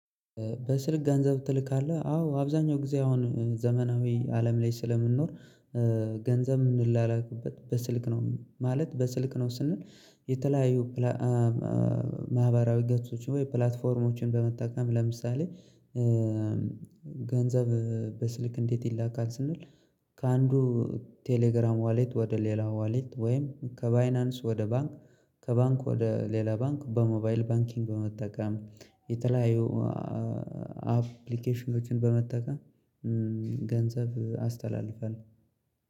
በስልክ ገንዘብ ትልካለህ አዎ አብዛኛው ጊዜ አሁን ዘመናዊ አለም ላይ ስለምንኖር ገንዘብ ምንላላክበት በስልክ ነው ማለት በስልክ ነው ስንል። የተለያዩ ፕላ ማህበራዊ ገጾች ወይ ፕላትፎርሞችን በመጠቀም ለምሳሌ ገንዘብ በስልክ እንዴት ይላካል ስንል? ከአንዱ ቴሌግራም ዋሌት ወደ ሌላ ዋሌት ወይም ከባይናንስ ወደ ባንክ ከባንክ ወደ ሌላ ባንክ በሞባይል ባንኪንግ በመጠቀም የተለያዩ አፕሊኬሽኖችን በመጠቀም። ገንዘብ አስተላልፋለሁል።